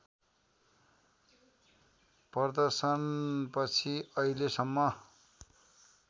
प्रदर्शनपछि अहिलेसम्म